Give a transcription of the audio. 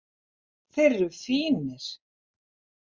Þeir eru fínir.